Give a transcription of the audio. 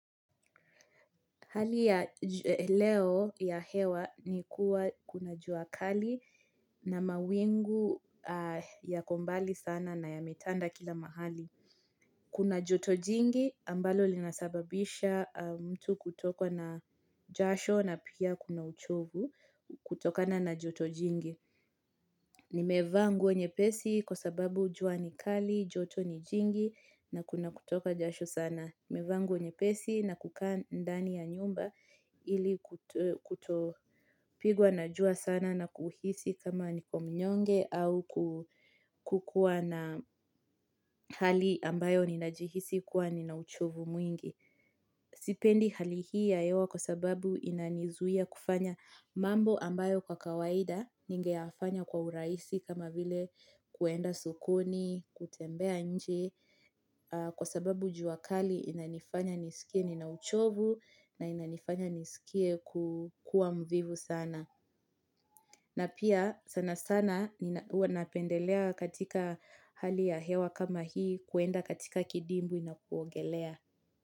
Hali ya leo ya hewa ni kuwa kuna jua kali na mawingu yako mbali sana na yametanda kila mahali. Kuna joto jingi ambalo linasababisha mtu kutokwa na jasho na pia kuna uchovu kutokana na joto jingi. Nimevaa nguo nyepesi kwa sababu jua ni kali, joto ni jingi na kuna kutoka jasho sana. Nimevaa nguo nyepesi na kukaa ndani ya nyumba ili kutopigwa na jua sana na kuhisi kama niko mnyonge au kukuwa na hali ambayo ninajihisi kuwa nina uchovu mwingi. Sipendi hali hii ya hewa kwa sababu inanizuia kufanya mambo ambayo kwa kawaida ningeyafanya kwa urahisi kama vile kuenda sokoni, kutembea nje. Kwa sababu jua kali inanifanya nisikie nina uchovu na inanifanya nisikie kukua mvivu sana. Na pia sana sana huwa napendelea katika hali ya hewa kama hii kuenda katika kidimbwi na kuogelea.